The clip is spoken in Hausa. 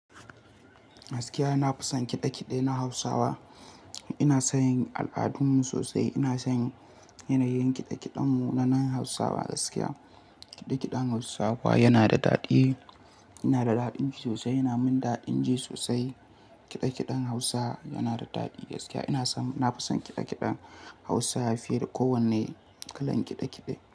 Gaskiya, na fusan kiɗe-kiɗe na Hausawa. Ina son al'adunmu sosai. Ina son yanayin kiɗe-kiɗen mu na nan Hausawa gaskiya. Kiɗe-kiɗen Hausawa yana da daɗi, yana da daɗin ji sosai, yana mun daɗin ji sosai. Kiɗe-kiɗen Hausa yana da daɗi gaskiya. Ina son, na fi son kiɗe-kiɗen Hausa fiye da kowanne kalan kiɗe-kiɗe.